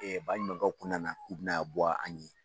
baɲumankɛw kun nana k'u bɛna bɔ an ye